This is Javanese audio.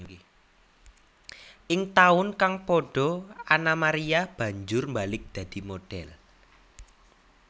Ing taun kang padha Anna Maria banjur mbalik dadi modhél